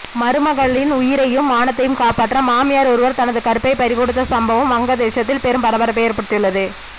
மருமகளின் உயிரையும் மானத்தையும் காப்பாற்ற மாமியார் ஒருவர் தனது கற்பை பறிகொடுத்த சம்பவம் வங்கதேசத்தில் பெரும் பரபரப்பை ஏற்படுத்தியுள்ளது